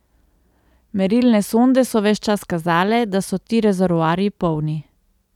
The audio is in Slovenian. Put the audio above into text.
Merilne sonde so ves čas kazale, da so ti rezervoarji polni.